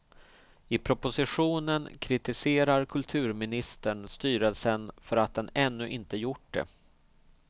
I propositionen kritiserar kulturministern styrelsen för att den ännu inte gjort det.